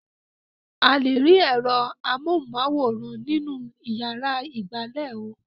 A lè rí ẹ̀rọ amóhùmáwòhán nínú ìyàrá ìgbàlè ò.